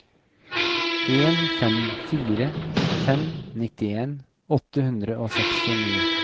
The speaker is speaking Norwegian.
en fem fire fem nittien åtte hundre og sekstini